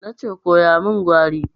Na ce koya min Gwari!